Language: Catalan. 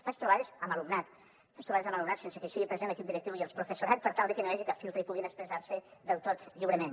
faig trobades amb alumnat faig trobades amb alumnat sense que hi sigui present l’equip directiu i el professorat per tal de que no hi hagi cap filtre i puguin expressar se del tot lliurement